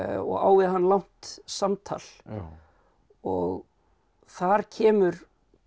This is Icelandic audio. og á við hann langt samtal og þar kemur